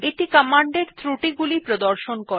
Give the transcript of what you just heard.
এটি কমান্ড এর ত্রুটি গুলি প্রদর্শন করে